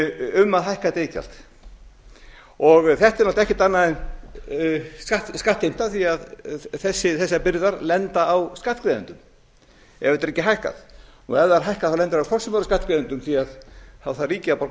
um að hækka þetta iðgjald þetta er náttúrlega ekkert annað en skattheimta því þessar byrðar lenda á skattgreiðendum ef þetta er ekki hækkað ef það er hækkað lendir það hvort sem er á skattgreiðendum því þá þarf ríkið að borga